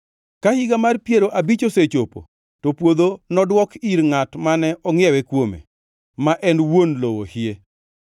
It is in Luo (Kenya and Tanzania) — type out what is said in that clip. Ka Higa mar Piero Abich osechopo, to puodho nodwok ir ngʼat mane ongʼiewe kuome, ma en wuon lowo hie.